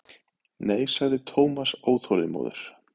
Nei sagði Thomas óþolinmóður.